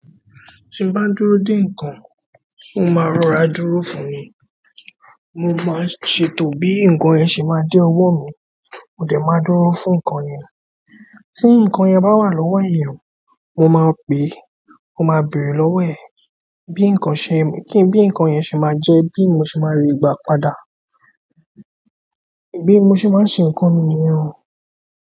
Tí n bá dúró dè nǹkan, mó máa rọra dúró fún ni. Mó máa ṣètò bí nǹkan yẹn ṣe máa dé ọwọ́ mi. Mó dẹ́ máa dúró fún nǹkan yẹn. Bí nǹkan yẹn bá wà lọ́wọ́ ènìyàn, mó máa pe, mó máa bèrè lọ́wọ́ ẹ̀. Bí nǹkan ṣe, kí n bí nǹkan yẹn ṣe máa jẹ́, bí mó ṣe máa ri gba padà. Bí mó ṣe máa ṣe nǹkan mi nìyẹn.